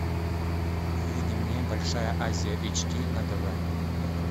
выведи мне большая азия эйч ди на тв